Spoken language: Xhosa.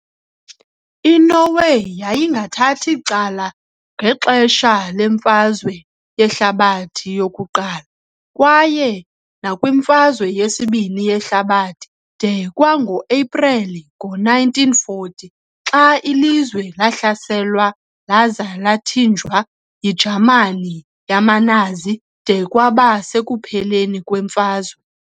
INorway yayingathathi cala ngexesha leMfazwe yeHlabathi yokuQala, kwaye nakwiMfazwe yesibini yeHlabathi de kwango-Epreli ngo-1940 xa ilizwe lahlaselwa laza lathinjwa yiJamani yamaNazi de kwaba sekupheleni kwemfazwe.